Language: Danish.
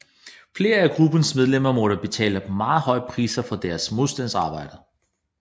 Flere af gruppens medlemmer måtte betale meget høje priser for deres modstandsarbejde